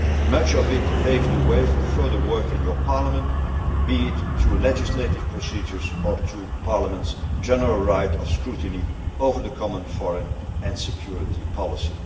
this year. Much of it paves the way for further work in this Parliament, be it through legislative procedures or through Parliament's general right of scrutiny over the common foreign and security